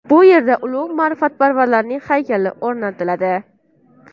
Bu yerda ulug‘ ma’rifatparvarning haykali o‘rnatiladi.